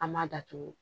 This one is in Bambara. An m'a datugu